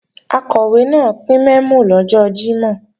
Akọ̀wé náà pín mẹ́mò lọ́jọ́ Jímọ̀